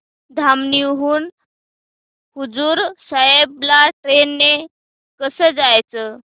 धामणी हून हुजूर साहेब ला ट्रेन ने कसं जायचं